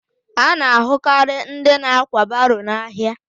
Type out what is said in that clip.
A na-ahụ karị ndị na-ákwà baro n'ahịa